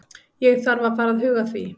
Ég þarf að fara að huga því.